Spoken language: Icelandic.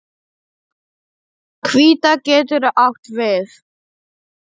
Hvíta getur átt við